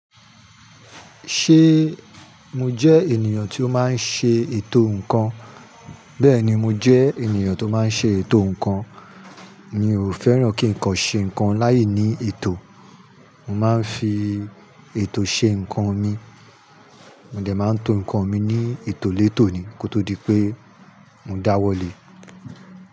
Ṣé mo jẹ́ ènìyàn tió máa ń ṣe ètò ǹkan? Bẹ́ẹ̀ni, mo jẹ́ ènìyàn tó máa ń ṣe ètò ǹkan. Mi ò fẹ́ràn kí ǹkan ṣe ǹkan láìní ètò. Mo máa ń fi ètò ṣe ǹkan mi. Mo dẹ̀ máa ń to ǹkan mi ní ètò létò ni kó tó di pé mo dáwọ́ lé.